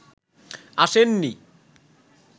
আসেন নি